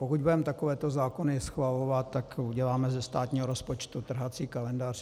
Pokud budeme takovéto zákony schvalovat, tak uděláme ze státního rozpočtu trhací kalendář.